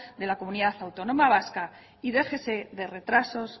de la comunidad autónoma vasca y déjese de retrasos